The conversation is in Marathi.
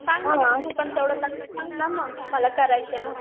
सांग ना सांग ना मला मग मला करायचं आहे म्हणून